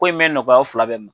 Ko in mɛn nɔgɔya aw fila bɛɛ ma.